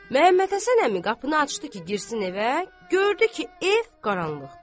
Məhəmməd Həsən əmi qapını açdı ki, girsin evə, gördü ki, ev qaranlıqdır.